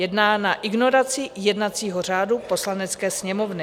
Je dána ignorací jednacího řádu Poslanecké sněmovny.